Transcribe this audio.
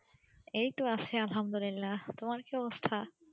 এই তো আছে আলহামদুল্লিল্লা তোমার কি অবস্থা?